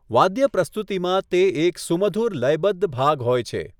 વાદ્ય પ્રસ્તુતિમાં તે એક સુમધુર લયબદ્ધ ભાગ હોય છે.